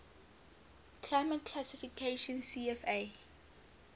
climate classification cfa